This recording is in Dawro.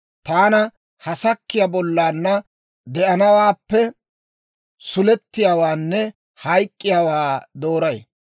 Taani ha sakkiyaa bollaanna de'anawaappe sulettiyaawaanne hayk'k'iyaawaa dooray.